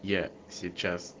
я сейчас